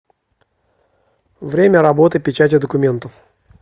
время работы печати документов